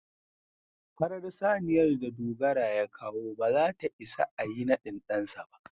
farar saniyar da Dogara ya kawo ba za ta ias a Yi nadin dansa ba.